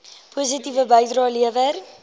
positiewe bydrae lewer